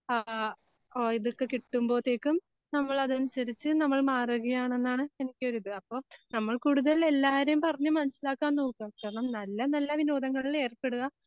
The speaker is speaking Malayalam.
ആ ഓ ഇതൊക്കെ കിട്ടുമ്പോത്തേക്കും നമ്മളതനുസരിച്ച് നമ്മൾ മാറുകയാണെന്നാണ് എനിക്കൊരിത് അപ്പോൾ അപ്പോ നമ്മൾ കൂടുതൽ എല്ലാരെയും പറഞ്ഞു മനസ്സിലാക്കാൻ നോക്കുക കാരണം നല്ല നല്ല വിനോദങ്ങളിൽ ഏർപ്പെടുക